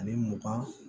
Ani mugan